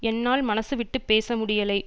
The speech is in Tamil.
என்னால் மனசு விட்டு பேச முடியலை